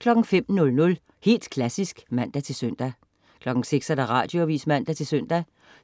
05.00 Helt Klassisk (man-søn) 06.00 Radioavis (man-søn)